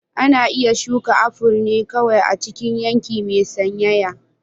Ana iya shuka aful ne kawai a cikin yanki mai sanyaya.